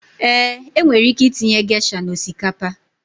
Eeǃ E nwere ike itinye gesha na osikapa.